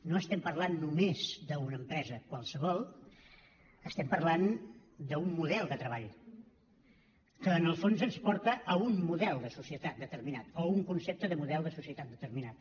no estem parlant només d’una empresa qualsevol estem parlant d’un model de treball que en el fons ens porta a un model de societat determinat o a un concepte de model de societat determinat